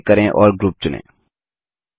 दायाँ क्लिक करें और ग्रुप चुनें